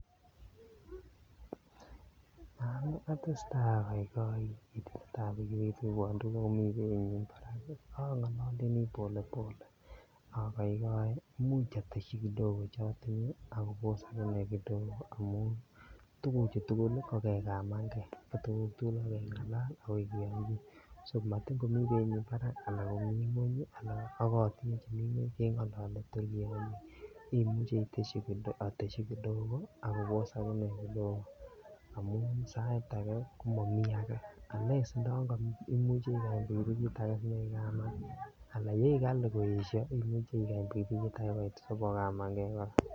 Yoon oteseta okoikoi chitab pikipiki kondewon tukuk barak oleini kondewon polepole, akoikoi imuch oteshi kidogo chotinye ak abos akane kidogo amun tukuchu tukul ko kekaman kee ko tukuk tukul ko kengalal akoi kiyonchin, so matin komii beinyin barak anan komii ngweny anan ak kotinye chemii ngweny kengolole tor kiyonchine , amuche oteshi kidogo ak kobos akine kidogo amun sait akee komomi akee unless ndoyon komuchi ikany pikipikit akee sinyoikaman alaa yeik kalii koyesho imuche ikany pikipikit akee koit sibokamange.